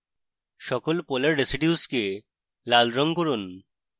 সকল polar residues কে লাল red করুন